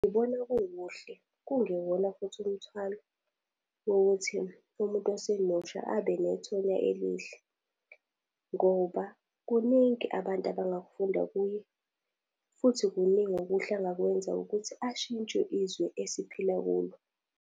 Ngibona kukuhle, kungewona futhi umthwalo wokuthi umuntu osemusha abenethonya elihle. Ngoba kuningi abantu abangakufunda kuye, futhi kuningi okuhle angakwenza ukuthi ashintshe izwe esiphila kulo.